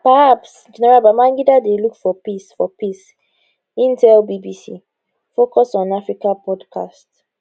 perhaps general babangida dey look for peace for peace im tell bbc focus on africa podcast